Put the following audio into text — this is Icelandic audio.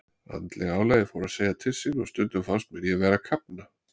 Andlega álagið fór að segja til sín og stundum fannst mér ég vera að kafna.